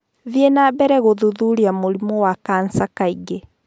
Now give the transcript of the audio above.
Thiĩ na mbere gũthuthuria mũrimũ wa kansa kaingĩ.